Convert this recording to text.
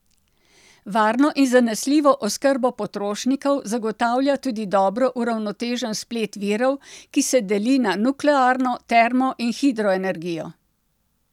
Varno in zanesljivo oskrbo potrošnikov zagotavlja tudi dobro uravnotežen splet virov, ki se deli na nuklearno, termo in hidroenergijo.